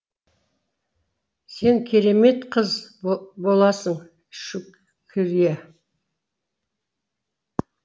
сен керемет қыз боласың шүк крие